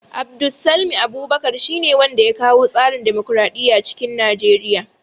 Abdulsalmi Abubakar shi ne wanda ya kawo tsarin dimokraɗiya cikin Nigeriya